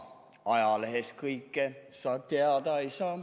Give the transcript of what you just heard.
Ajalehest kõike sa teada ei saa.